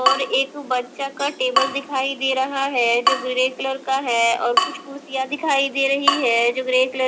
और एक बच्चा का टेबल दिखाई दे रहा है जो ग्रे कलर का है और कुछ कुर्सियां दिखाई दे रही है जो ग्रे कलर --